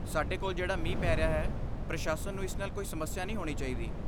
ਸਾਡੇ ਕੋਲ ਜਿਹੜਾ ਮੀਂਹ ਪੀ ਰਿਹਾ ਹੈ, ਪ੍ਰਸ਼ਾਸਨ ਨੂੰ ਇਸ ਨਾਲ ਕੋਈ ਸਮੱਸਿਆ ਨਹੀਂ ਹੋਣੀ ਚਾਹੀਦੀ।